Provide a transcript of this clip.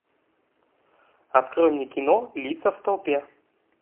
открой мне кино лица в толпе